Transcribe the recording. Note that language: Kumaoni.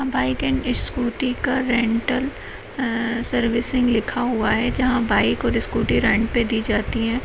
बाइक एण्ड स्कूटी का रेन्टल ए-सर्विसिंग लिखा हुआ है जहाँ बाइक और स्कूटी रेंट पे दी जाती हैं।